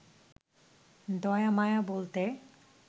দয়া মায়া বলতে